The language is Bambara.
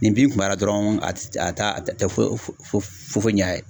Ni bin kun b'a la dɔrɔn, a t'a te foyi ɲa a ye.